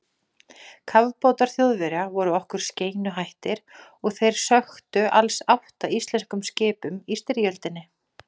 Kafbátar Þjóðverja voru okkur skeinuhættir og þeir sökktu alls átta íslenskum skipum í styrjöldinni.